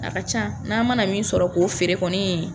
A ka ca n'a mana min sɔrɔ k'o feere kɔni